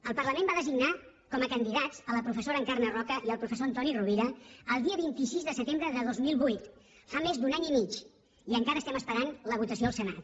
el parlament va designar com a candidats la professora encarna roca i el professor antoni rovira el dia vint sis de setembre de dos mil vuit fa més d’un any i mig i encara estem esperant la votació al senat